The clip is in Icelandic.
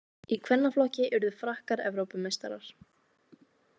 Í kvennaflokki urðu Frakkar Evrópumeistarar